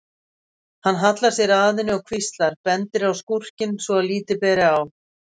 Hann hallar sér að henni og hvíslar, bendir á skúrkinn svo að lítið ber á.